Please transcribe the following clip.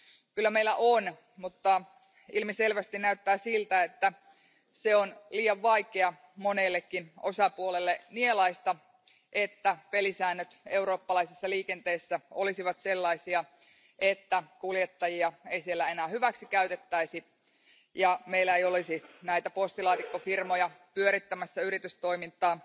Kyllä meillä on, mutta ilmiselvästi näyttää siltä, että on liian vaikeaa monellekin osapuolelle nielaista, että pelisäännöt eurooppalaisessa liikenteessä olisivat sellaisia, että kuljettajia ei siellä enää hyväksikäytettäisi ja että meillä ei olisi näitä postilaatikkofirmoja pyörittämässä yritystoimintaa,